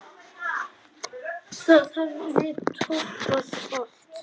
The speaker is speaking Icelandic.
Það hefði toppað allt.